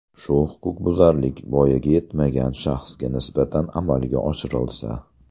Shu huquqbuzarlik voyaga yetmagan shaxsga nisbatan amalga oshirilsa.